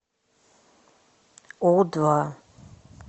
у два